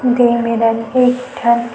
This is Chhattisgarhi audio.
दुइ मेरन एक ठन --